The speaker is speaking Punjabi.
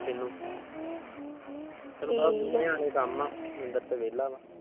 ਕੀਨੁ ਨੀਂਦਰ ਤਾ ਵੇਹਲਾ ਵਾ